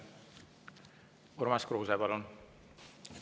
Urmas Kruuse, palun!